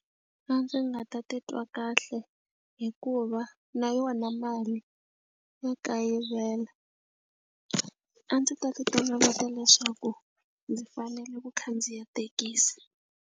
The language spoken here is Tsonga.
A ndzi nga ta titwa kahle hikuva na yona mali ya kayivela. A ndzi ta ti toloveta leswaku ndzi fanele ku khandziya thekisi.